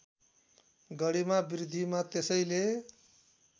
गरिमा बृद्धिमा त्यसैले